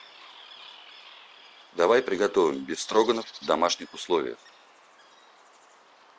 давай приготовим бефстроганов в домашних условиях